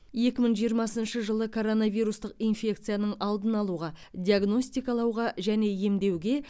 екі мың жиырмасыншы жылы коронавирустық инфекцияның алдын алуға диагностикалауға және емдеуге